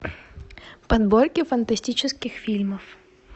подборки фантастических фильмов